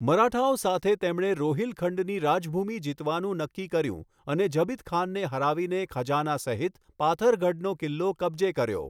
મરાઠાઓ સાથે તેમણે રોહિલખંડની રાજભૂમી જીતવાનું નક્કી કર્યું અને ઝબિત ખાનને હરાવીને ખજાના સહિત પાથરગઢનો કિલ્લો કબજે કર્યો.